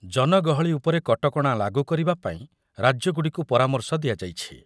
ଜନଗହଳି ଉପରେ କଟକଣା ଲାଗୁ କରିବା ପାଇଁ ରାଜ୍ୟଗୁଡ଼ିକୁ ପରାମର୍ଶ ଦିଆଯାଇଛି।